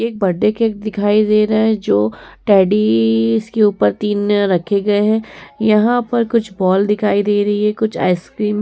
एक birthday cake दिखाई दे रहा है जो टेडडडडीज़ के ऊपर तीन रखे गए हैं। यहाँ पर कुछ बॉल दिखाई दे रही है कुछ आइसक्रीम --